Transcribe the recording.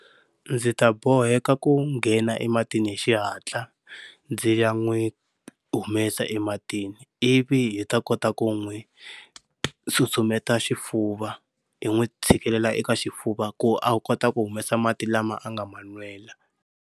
Ndzi ta boheka ku nghena ematini hi xihatla ndzi ya n'wi humesa ematini ivi hi ta kota ku n'wi susumetela xifuva hi n'wi tshikelela eka xifuva ku a kota ku humesa mati lama a nga ma nwela.